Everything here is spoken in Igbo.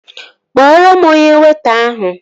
Kpọrọ m onye weịta ahụ!